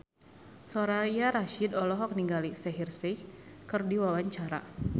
Soraya Rasyid olohok ningali Shaheer Sheikh keur diwawancara